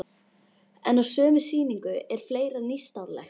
En á sömu sýningu er fleira nýstárlegt.